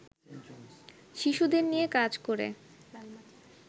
শিশুদের নিয়ে কাজ করে